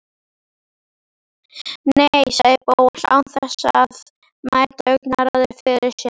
Nei- sagði Bóas án þess að mæta augnaráði föður síns.